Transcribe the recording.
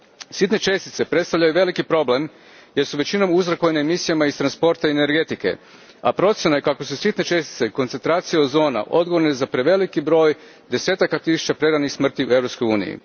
Sitne čestice predstavljaju veliki problem jer su većinom uzrokovane emisijama iz transporta i energetike, a procjena je kako su sitne čestice koncentracije ozona odgovorne za preveliki broj desetaka tisuća preranih smrti u Europskoj uniji.